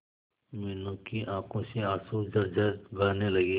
मीनू की आंखों से आंसू झरझर बहने लगे